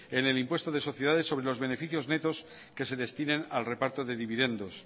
en el impuesto de sociedades sobre los beneficios netos que se destinen al reparto de dividendos